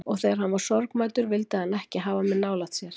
Og þegar hann var sorgmæddur vildi hann ekki hafa mig nálægt sér.